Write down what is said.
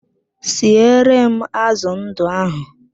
Siere m azụ ndụ ahụ!